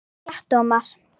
Ekki rétt Ómar?